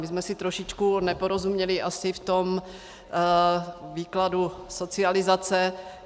My jsme si trošičku neporozuměli asi v tom výkladu socializace.